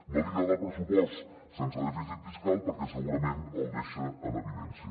no li agrada el pressupost sense dèficit fiscal perquè segurament el deixa en evidència